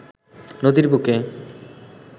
নদীর বুকে